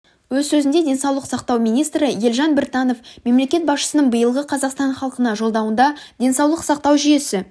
өз сөзінде денсаулық сақтау министрі елжан біртанов мемлекет басшысының биылғы қазақстан халқына жолдауында денсаулық сақтау жүйесі